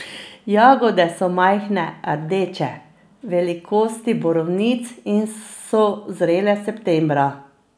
Jagode so majhne, rdeče, velikosti borovnic in so zrele septembra.